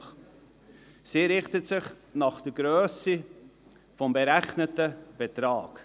diese richtet sich nach der Grösse des berechneten Betrags.